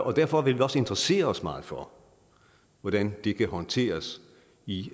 og derfor vil vi også interessere os meget for hvordan det kan håndteres i